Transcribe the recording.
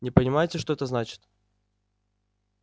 не понимаете что это значит